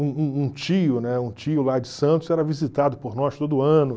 Um um um tio, né, um tio lá de Santos era visitado por nós todo ano.